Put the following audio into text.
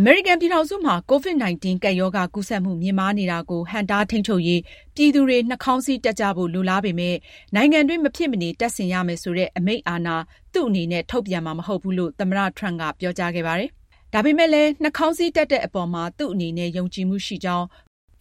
အမေရိကန်ပြည်ထောင်စုမှာ COVID-19 ကပ်ရောဂါ ကူးစက်မှု မြင့်မားနေတာကို ဟန့်တားထိန်းချုပ်ရေး ပြည်သူတွေ နှာခေါင်းစည်းတပ်ကြဖို့ လိုလားပေမယ့် နိုင်ငံတွင်း မဖြစ်မနေ တပ်ဆင်ရမယ်ဆိုတဲ့ အမိန့်အာဏာ သူ့အနေနဲ့ ထုတ်ပြန်ဖို့ မရှိဘူးလို့ သမ္မတ Donal Trump က ပြောကြားခဲ့ပါတယ်။ နှာခေါင်းစည်းတပ်တဲ့အပေါ်မှာ သူ့အနေနဲ့ ယုံကြည်မှုရှိကြောင်း